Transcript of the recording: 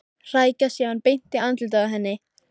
Hrækja síðan beint í andlitið á henni.